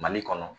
Mali kɔnɔ